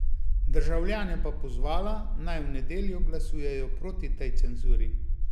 Državljane pa pozvala, naj v nedeljo glasujejo proti tej cenzuri.